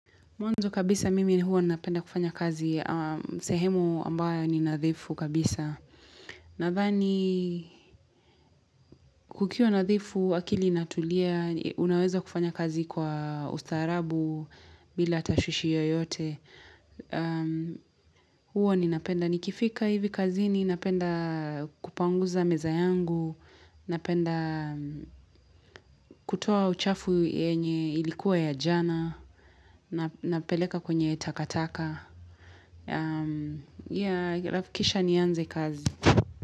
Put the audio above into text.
Mwanzo kabisa mimi huwa napenda kufanya kazi, sehemu ambayo ni nadhifu kabisa. Nadhani, kukiwa nadhifu, akili inatulia, unaweza kufanya kazi kwa ustarabu, bila tashwishi yoyote. Huwa ninapenda nikifika hivi kazini napenda kupanguza meza yangu, napenda kutoa uchafu yenye ilikuwa ya jana, napeleka kwenye takataka. Kisha nianze kazi.